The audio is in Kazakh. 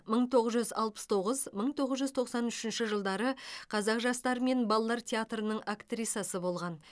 мың тоғыз жүз алпыс тоғыз мың тоғыз жүз тоқсан үшінші жылдары қазақ жастары мен балалар театрының актрисасы болған